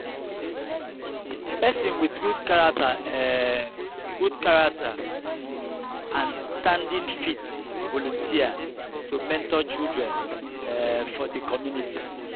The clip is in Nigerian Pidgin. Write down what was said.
person with good character um good character um and standing fit volunteer to mentor children um for di community